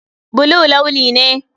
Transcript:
Blue launi ne.